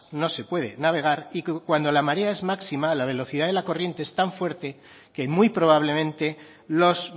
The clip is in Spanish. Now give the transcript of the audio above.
no se puede navegar y que cuando la marea es máxima la velocidad de la corriente es tan fuerte que muy probablemente los